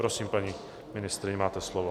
Prosím, paní ministryně, máte slovo.